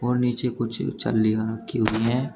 और नीचे कुछ रखी हुई हैं।